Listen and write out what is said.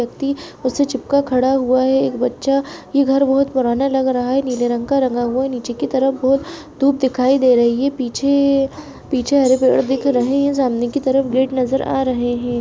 पति उससे चिपका खड़ा हुआ है एक बच्चा ये घर बहुत पुराना लग रहा है नीले रंग का रंगा हुआ नीचे की तरफ बहुत धूप दिखाई दे रही है पीछे पीछे हरे पेड़ दिख रहे है सामने की तरफ गेट नजर रहे है।